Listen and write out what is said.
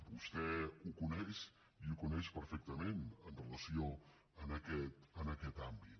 vostè ho coneix i ho coneix perfectament amb relació a aquest àmbit